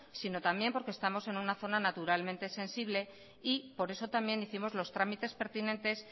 sino también porque estamos en una zona naturalmente sensible y por eso también hicimos los trámites pertinentes